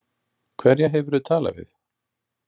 Hverja hefurðu talað við?